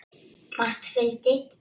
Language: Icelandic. Margt fylgdi.